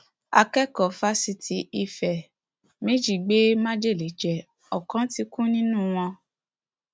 akẹkọọ fáṣítì ife méjì gbé májèlé jẹ ọkan ti kú nínú wọn